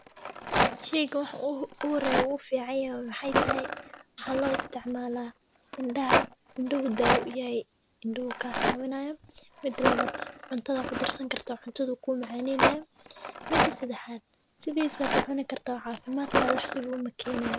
Sheeygani waxa u horeya oo u ficanyahay wa Maxey tahay maxa lo isticmala indhaha daawo uyahay indhahu kacaawinayaa mida labad Cunada ku darsan kartaa Cunaduu kumacaneynaya mida sedaxaad sidisaa kucuni kartaa oo caafimad kaga wax dhib ah umakenayoo.